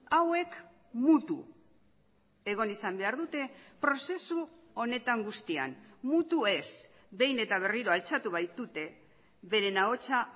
hauek mutu egon izan behar dute prozesu honetan guztian mutu ez behin eta berriro altxatu baitute beren ahotsa